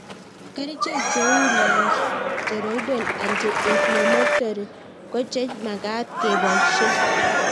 Kerichek cheu nonsteroidal anti inflammatory ko che magat kepoishe